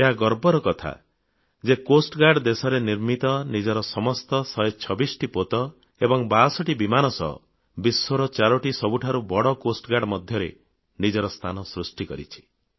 ଏହା ଗର୍ବର କଥା ଯେ ତଟରକ୍ଷୀ ବାହିନୀର ଦେଶରେ ନିର୍ମିତ ନିଜର ସମସ୍ତ 126ଟି ପୋତ ଏବଂ 62 ବିମାନ ସହ ବିଶ୍ୱର ଚାରିଟି ସବୁଠାରୁ ବଡ଼ ତଟରକ୍ଷୀ ବାହିନୀ ମଧ୍ୟରେ ନିଜର ସ୍ଥାନ ସୃଷ୍ଟି କରିଛି